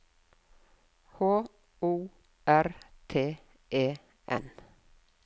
H O R T E N